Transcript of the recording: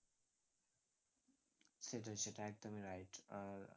সেটাই সেটাই, একদমই right আহ